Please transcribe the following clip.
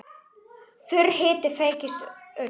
Þurr hiti feyskir ull.